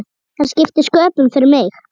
Það skipti sköpum fyrir mig.